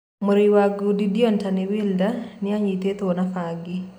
Mũrũi wa ngundi Deontay Wilder ninyititwo na bangi.